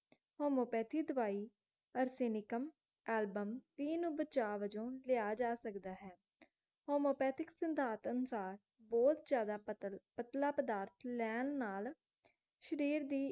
homeopathy ਦਵਾਈ arsenicum album ਬਚਾਅ ਵਜੋਂ ਲਿਆ ਜਾ ਸਕਦਾ ਹੈ homeopathic ਸਿਧਾਂਤ ਅਨੁਸਾਰ ਬਹੁਤ ਜ਼ਿਆਦਾ ਪਤਲ ਪਤਲਾ ਪਦਾਰਥ ਲੈਣ ਨਾਲ ਸ਼ਰੀਰ ਦੀ